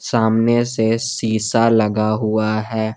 सामने से शीशा लगा हुआ है।